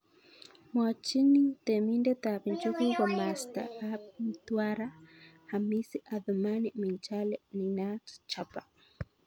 Mwachini temindet ab njuguk komasta ab Mtwara Hamisi Athumani Minjali ninaat Jaba.